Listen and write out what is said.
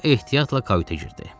O ehtiyatla kayutə girdi.